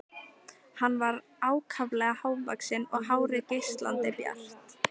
Hann var ákaflega hávaxinn og hárið geislandi bjart.